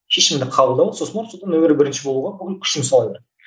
шешімді қабылдау сосын барып содан нөмірі бірінші болуға бүкіл күшіңді сала бер